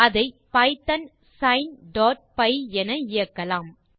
அதை பைத்தோன் sineபை என இயக்கலாம்